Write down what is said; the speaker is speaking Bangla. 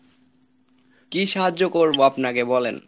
কি সাহায্য করবো আপনাকে বলেন?